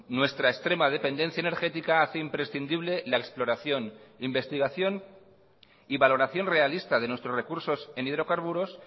nuestra extrema dependencia energética hace imprescindible la exploración investigación y valoración realista de nuestros recursos en hidrocarburos